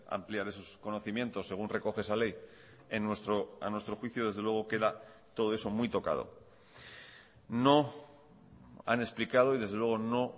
ampliar esos conocimientos según recoge esa ley a nuestro juicio desde luego queda todo eso muy tocado no han explicado y desde luego no